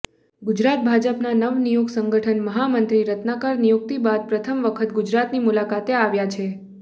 ગુજરાત ભાજપના નવનિયુક્ત સંગઠન મહામત્રી રત્નાકર નિયુક્તિ બાદ પ્રથમ વખત ગુજરાતની મુલાકાતે આવ્યા છે